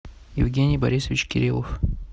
евгений борисович кириллов